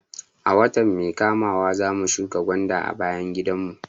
A wata mai kamawa zamu shuka gwanda a bayan gidan mu